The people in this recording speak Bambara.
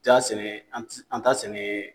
ja sɛnɛ an tii an t'a sɛnɛ